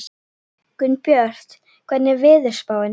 Gunnbjört, hvernig er veðurspáin?